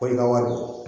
Ko i ka wari bɔ